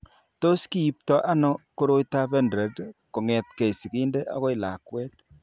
Tos kiipto ano koroitoab Pendred kong'etke sigindet akoi lakwet?